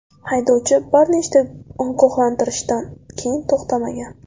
Haydovchi bir nechta ogohlantirishdan keyin to‘xtamagan.